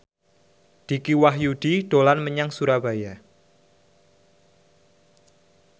Dicky Wahyudi dolan menyang Surabaya